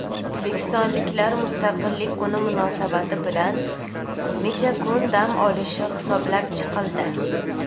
O‘zbekistonliklar Mustaqillik kuni munosabati bilan necha kun dam olishi hisoblab chiqildi.